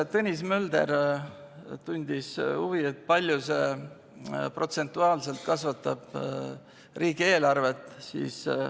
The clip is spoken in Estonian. Tõnis Mölder tundis huvi, kui palju see protsentuaalselt kasvatab riigieelarvet.